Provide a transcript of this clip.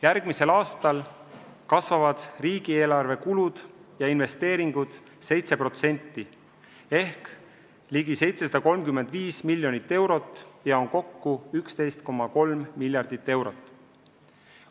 Järgmisel aastal kasvavad riigieelarve kulud ja investeeringud 7% ehk ligi 735 miljonit eurot ja on kokku 11,3 miljardit eurot.